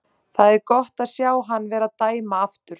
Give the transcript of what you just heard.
Það er gott að sjá hann vera að dæma aftur.